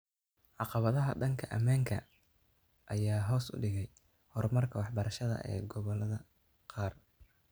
Caqabadaha dhanka ammaanka ah ayaa hoos u dhigay horumarka waxbarashada ee gobollada qaar.